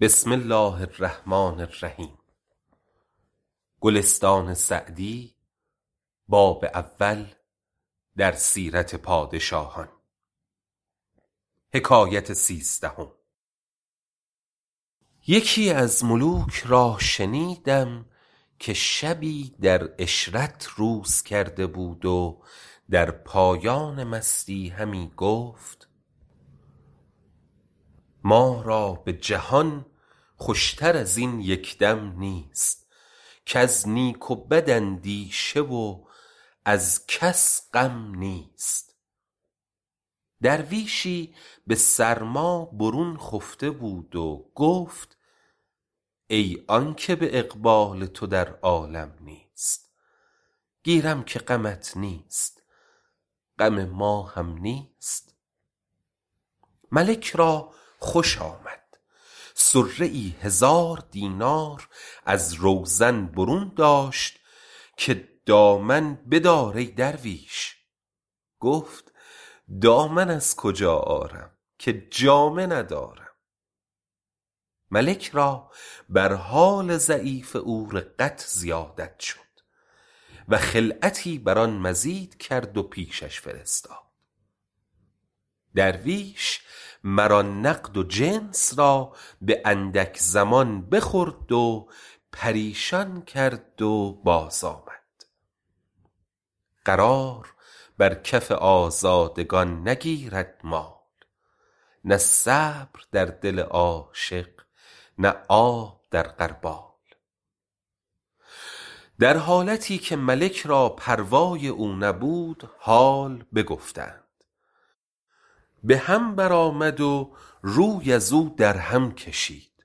یکی از ملوک را شنیدم که شبی در عشرت روز کرده بود و در پایان مستی همی گفت ما را به جهان خوش تر از این یک دم نیست کز نیک و بد اندیشه و از کس غم نیست درویشی به سرما برون خفته بود و گفت ای آن که به اقبال تو در عالم نیست گیرم که غمت نیست غم ما هم نیست ملک را خوش آمد صره ای هزار دینار از روزن برون داشت که دامن بدار ای درویش گفت دامن از کجا آرم که جامه ندارم ملک را بر حال ضعیف او رقت زیادت شد و خلعتی بر آن مزید کرد و پیشش فرستاد درویش مر آن نقد و جنس را به اندک زمان بخورد و پریشان کرد و باز آمد قرار بر کف آزادگان نگیرد مال نه صبر در دل عاشق نه آب در غربال در حالتی که ملک را پروای او نبود حال بگفتند به هم بر آمد و روی ازو در هم کشید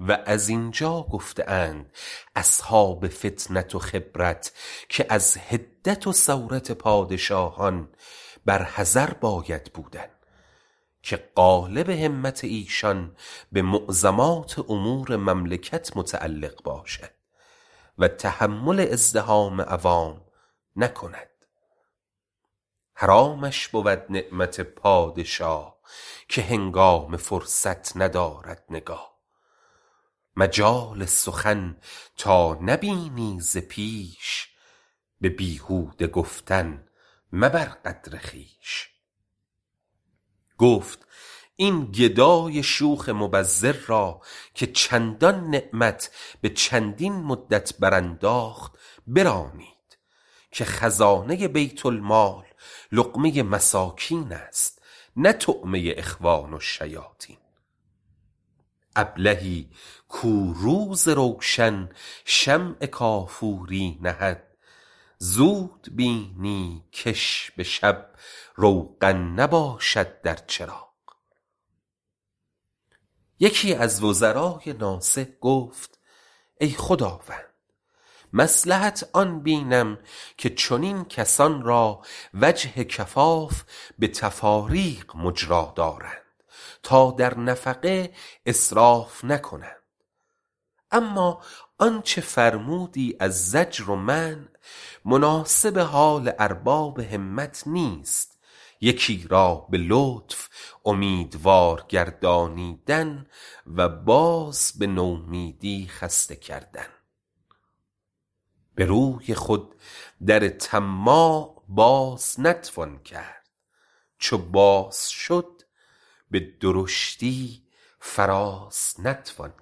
و زین جا گفته اند اصحاب فطنت و خبرت که از حدت و سورت پادشاهان بر حذر باید بودن که غالب همت ایشان به معظمات امور مملکت متعلق باشد و تحمل ازدحام عوام نکند حرامش بود نعمت پادشاه که هنگام فرصت ندارد نگاه مجال سخن تا نبینی ز پیش به بیهوده گفتن مبر قدر خویش گفت این گدای شوخ مبذر را که چندان نعمت به چندین مدت برانداخت برانید که خزانه بیت المال لقمه مساکین است نه طعمه اخوان الشیاطین ابلهی کو روز روشن شمع کافوری نهد زود بینی کش به شب روغن نباشد در چراغ یکی از وزرای ناصح گفت ای خداوند مصلحت آن بینم که چنین کسان را وجه کفاف به تفاریق مجرا دارند تا در نفقه اسراف نکنند اما آنچه فرمودی از زجر و منع مناسب حال ارباب همت نیست یکی را به لطف اومیدوار گردانیدن و باز به نومیدی خسته کردن به روی خود در طماع باز نتوان کرد چو باز شد به درشتی فراز نتوان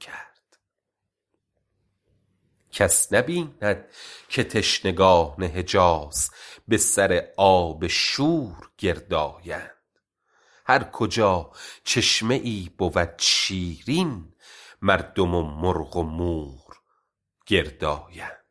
کرد کس نبیند که تشنگان حجاز به سر آب شور گرد آیند هر کجا چشمه ای بود شیرین مردم و مرغ و مور گرد آیند